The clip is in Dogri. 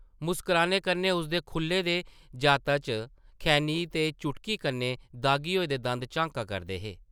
मुस्कराने कन्नै उसदे खुʼल्ले दे जाता चा खैनी ते चुटकी कन्नै दाह्गी होए दे दंद झांका करदे हे ।